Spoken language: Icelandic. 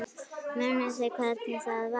Munið þið hvernig það var?